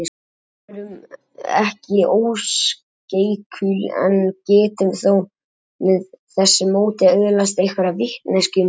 Við erum ekki óskeikul en getum þó með þessu móti öðlast einhverja vitneskju um heiminn.